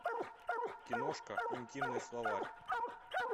киношка интимный словарь